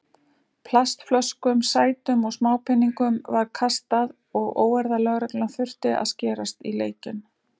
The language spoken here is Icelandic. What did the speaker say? Plastflöskum, sætum og smápeningum var kastað og óeirðalögreglan þurfti að skerast í leikinn.